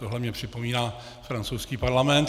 Tohle mně připomíná francouzský parlament.